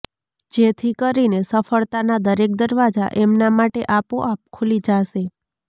જેથી કરીને સફળતાના દરેક દરવાજા એમના માટે આપોઆપ ખુલી જાશે